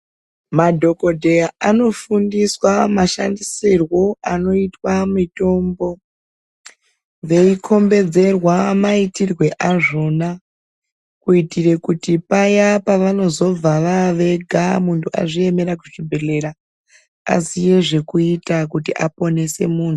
Madhokodheya anofundiswa mashandisirwo anoitwa mitombo, veikhombodzerwa maitirwo azvona. Kuitira kuti payaa pavanozova vavega muntu azviemera ega kuzvibhendlera muntu aziye zvekuita kuti aponese muntu.